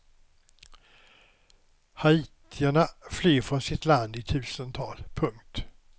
Haitierna flyr från sitt land i tusental. punkt